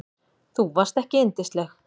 Þú varst ekki yndisleg.